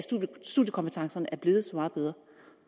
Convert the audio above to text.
studiekompetencerne er blevet så meget bedre